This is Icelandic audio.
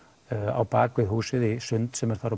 á bakvið húsið í sund sem er þar